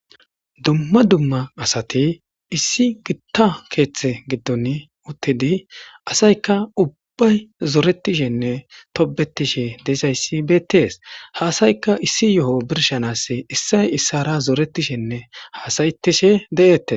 Duma duma asati issi guitar keetha gidoni uttidi asayka ubbay zoretishenne tobetishe dizaysi betters. Ha asayka issi yoho birsha asi issay issara zoretishenne hasayetishe de'etees.